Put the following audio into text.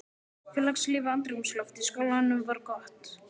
Félagslífið og andrúmsloftið í skólanum var gott.